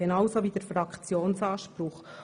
genauso wie der Fraktionsanspruch.